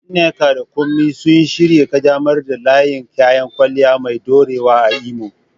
Nneka da Kunmi sun shirya ƙaddamar da layin kayan kwalliya mai ɗorewa a Imo